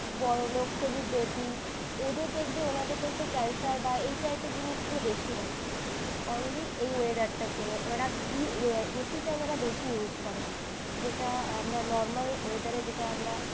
বড়লোক celebrity ওদের দেখবে ওনাদের দেখবে ক্যান্সার বা এই টাইপের জিনিস গুলো বেশি হয় only এই weather টার জন্য। ওনারা ac টা ওনারা বেশি use করেন। যেটা আমরা normal weather রে যেটা আমরা